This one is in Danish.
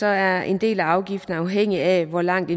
er en del af afgiften afhængig af hvor langt